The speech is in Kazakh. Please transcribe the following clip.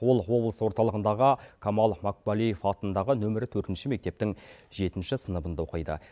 ол облыс орталығындағы камал макпалеев атындағы нөмірі төртінші мектептің жетінші сыныбында оқиды